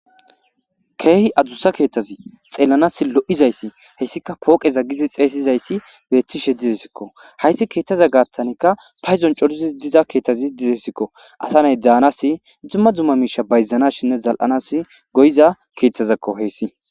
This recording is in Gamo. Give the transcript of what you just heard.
Keehi adussa keeththazi xeellanas lo'izayssi hayssika pooqeza giidi xeysizaysi beettishe deessiko. Hayssi keeththaza gaaththanikka paydon coridi diza keeththaz dizayssakko. Asa naay bayzanaasinne dumma dumma miishshe shammanaas go'iza keeththezakko hayssi.